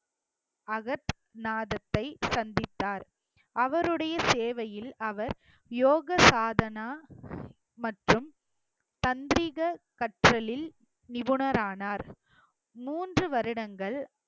அகத் நாதத்தை சந்தித்தார் அவருடைய சேவையில் அவர் யோக சாதனா மற்றும் தஞ்சீக கற்றலில் நிபுணரானார் மூன்று வருடங்கள்